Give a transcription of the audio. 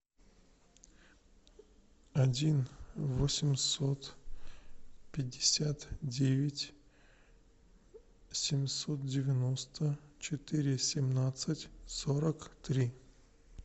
один восемьсот пятьдесят девять семьсот девяносто четыре семнадцать сорок три